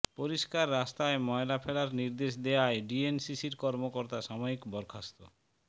পরিষ্কার রাস্তায় ময়লা ফেলার নির্দেশ দেয়ায় ডিএনসিসির কর্মকর্তা সাময়িক বরখাস্ত